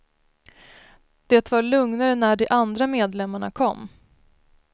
Det var lugnare när de andra medlemmarna kom.